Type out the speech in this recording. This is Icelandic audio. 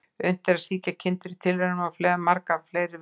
Unnt er að sýkja kindur í tilraunum á marga fleiri vegu.